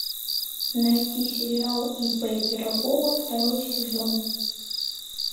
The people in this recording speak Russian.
найти сериал ип пирогова второй сезон